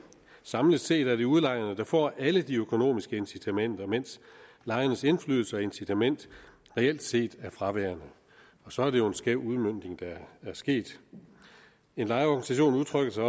samlet set er det udlejerne der får alle de økonomiske incitamenter mens lejernes indflydelse og incitament reelt set er fraværende og så er det jo en skæv udmøntning der er sket en lejerorganisation udtrykker sig